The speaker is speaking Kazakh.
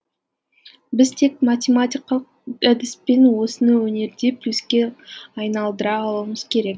біз тек математикалық әдіспен осыны өнерде плюске айналдыра алуымыз керек